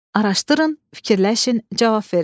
Araşdırın, fikirləşin, cavab verin.